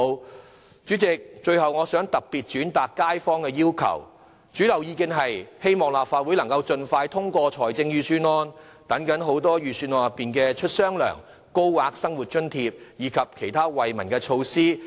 代理主席，最後，我想特別轉達街坊的要求，他們的主流意見是希望立法會能盡快通過預算案，以期盡快落實預算案中提出的"出雙糧"、高額生活津貼及其他惠民措施。